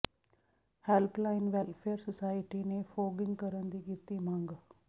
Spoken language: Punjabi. ਹੈਲਪ ਲਾਈਨ ਵੈੱਲਫੇਅਰ ਸੁਸਾਇਟੀ ਨੇ ਫ਼ੋਗਿੰਗ ਕਰਨ ਦੀ ਕੀਤੀ ਮੰਗ